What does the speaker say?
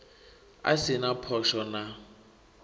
a si na phosho na